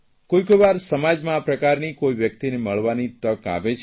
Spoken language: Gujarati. કોઇકોઇ વાર સમાજમાં આ પ્રકારની વ્યકિતને મળવાની તક આવે છે